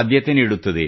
ಆದ್ಯತೆ ನೀಡುತ್ತದೆ